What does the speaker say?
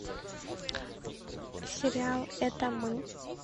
сериал это мы